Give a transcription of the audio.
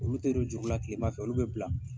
Olu tɛ don juru la tilema fɛ olu bɛ bila.